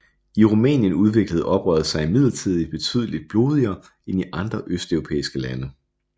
I Rumænien udviklede oprøret sig imidlertid betydeligt blodigere end i andre østeuropæiske lande